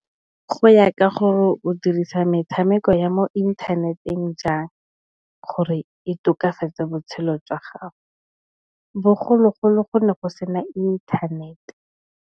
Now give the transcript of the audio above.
Go ya ka gore o dirisa metshameko ya mo inthaneteng jang. Gore e tokafetse botshelo jwa gago. Bogologolo, go ne go sena inthanete.